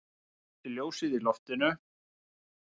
Slökkti ljósið í loftinu.